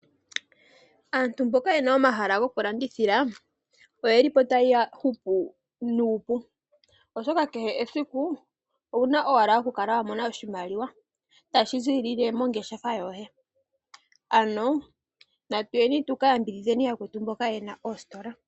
Aantu mboka ye na omahala ngoka gokulandithila oye li po taya hupu nuupu, oshoka kehe esiku oye na owala okukala ya mona oshimaliwa tashi ziilile moongeshefa dhawo. Ano natuyeni tu ka yambidhidhe yakwetu mboka ye na oositola.